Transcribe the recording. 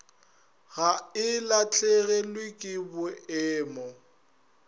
ga e lahlegelwe ke boemo